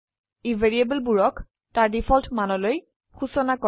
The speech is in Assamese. ই ভ্যাৰিয়েবলবোৰক তাৰ ডিফল্ট মানলৈ সুচনা কৰে